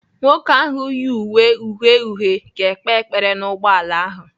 Nwoke ahu yi uwe uhie uhie ga-ekpe ekpere n'ugboala ahụ.